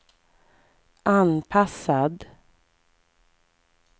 anpassad